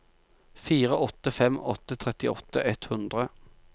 fire åtte fem åtte trettiåtte ett hundre